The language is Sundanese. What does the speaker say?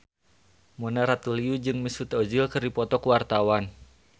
Mona Ratuliu jeung Mesut Ozil keur dipoto ku wartawan